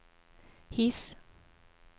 His